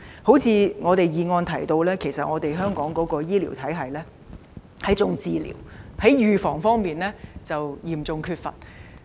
正如議案所提及，香港的醫療體系以治療為主，預防工作則嚴重不足。